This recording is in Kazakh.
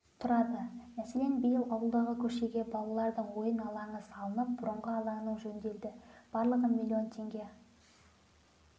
тұрады мәселен биыл ауылдағы көшеге балалардың ойын алаңы салынып бұрынғы алаңның жөнделді барлығы миллион теңге